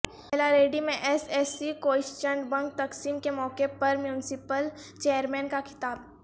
یلاریڈی میں S S C question bank تقسیم کے موقع پر میونسپل چیرمین کا خطاب